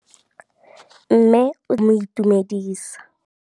Mme o tsikitla ngwana go mo itumedisa.